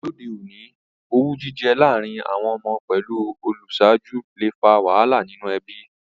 Lóde ọ̀ní, owú jijẹ lárìn àwon ọmọ pẹ́lu ojúsàju le fa wàhálà nínú ebí